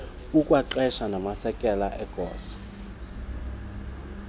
kukwaqeshwe namasekela egosa